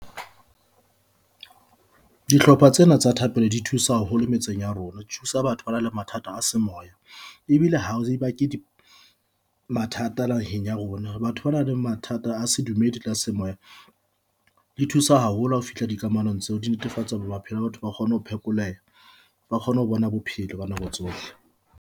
Dihlopha tsena tsa thapelo di thusa haholo metseng ya rona, di thusa batho bana le mathata a semoya ebile ha e ba ke di mathata naheng ya rona. Batho bana le mathata a sedumedi le a semoya di thusa haholo ha o fihla di kamanong tseo di netefatsa hore maphelo a batho a kgone ho phekoleha, ba kgone ho bona bophelo ba nako tsohle.